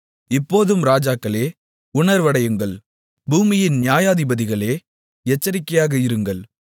இப்போதும் இராஜாக்களே உணர்வடையுங்கள் பூமியின் நியாயாதிபதிகளே எச்சரிக்கையாக இருங்கள்